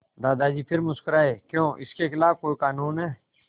दादाजी फिर मुस्कराए क्यों इसके खिलाफ़ कोई कानून है